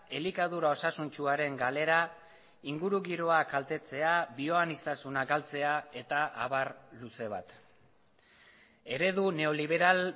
elikadura osasuntsuaren galera ingurugiroak kaltetzea bioaniztasuna galtzea eta abar luze bat eredu neoliberal